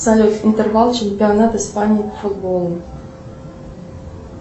салют интервал чемпионат испании по футболу